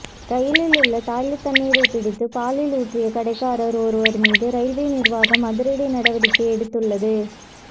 ரயிலில் உள்ள டாய்லெட் தண்ணீரை பிடித்து பாலில் ஊற்றிய கடைக்காரர் ஒருவர் மீது ரயில்வே நிர்வாகம் அதிரடி நடவடிக்கை எடுத்துள்ளது